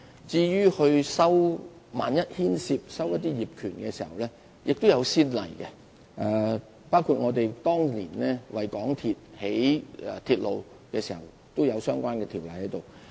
至於萬一牽涉收購業權的問題，過往亦有先例，包括當年興建港鐵的鐵路時，都有相關條例處理。